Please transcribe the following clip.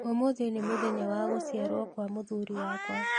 Ũmũthĩ nĩ mũthenya wa gũciarwo kwa mũthuuri wakwa